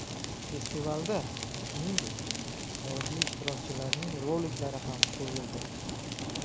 Festivalda, shuningdek, xorijiy ishtirokchilarning roliklari ham qo‘yildi.